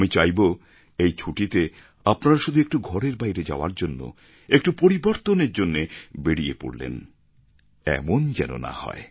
আমি চাইবো এই ছুটিতে আপনারা শুধু একটু ঘরের বাইরে যাওয়ার জন্য একটু পরিবর্তনের জন্য বেরিয়ে পড়লেন এমন যেন না হয়